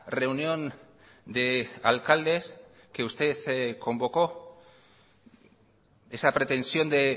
reunión de alcaldes que usted convocó esa pretensión de